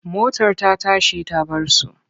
Motar ta tashi ta bar su.